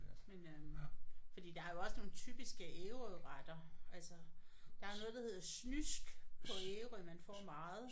Men øh fordi der er jo også nogle typiske Ærøretter altså der er jo noget der hedder snysk på Ærø man får meget